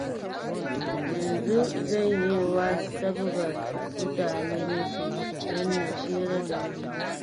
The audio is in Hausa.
Yanzu janyewa sabgar mutane nake, don na tsira da mutuncina.